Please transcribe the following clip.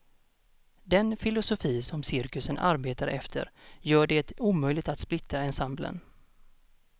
Den filosofi som cirkusen arbetar efter gör det omöjligt att splittra ensemblen.